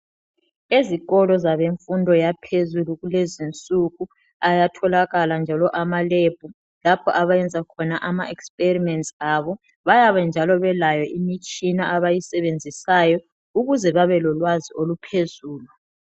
Ezikolo zabemfundo yaphezulu kulezinsuku ayatholakala njalo amaLab lapho abayenza khona ama experiments abo bayabe njalo belayo imitshina abayisebenzisayo ukuze babe lolwazi oluphezulu.